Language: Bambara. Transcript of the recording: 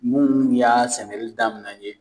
Munnu y'a sɛnɛli daminɛ yen